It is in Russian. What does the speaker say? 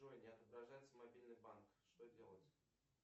джой не отображается мобильный банк что делать